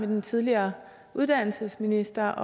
den tidligere uddannelsesminister